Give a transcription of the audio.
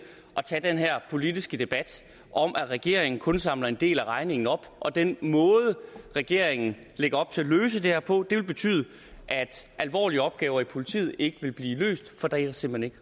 at tage den her politiske debat om at regeringen kun samler en del af regningen op og den måde regeringen lægger op til at løse det her på vil betyde at alvorlige opgaver i politiet ikke vil blive løst for der er simpelt